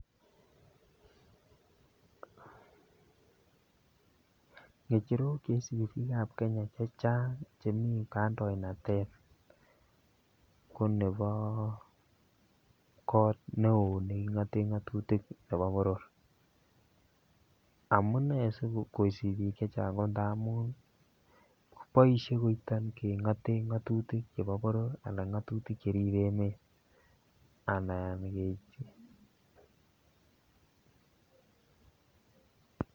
Ngecherok Che isubi bikap Kenya chechang chemi kandoinatet ko nebo koot neo nekingoten ngatutik nebo boror amune si kosubi bik Che Chang ko amun boisie koito kengoten ngatutik chebo boror anan ngatutik Che ribe emet anan kechoben